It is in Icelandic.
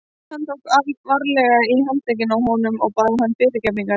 Hann tók varlega í handlegginn á honum og bað hann fyrirgefningar.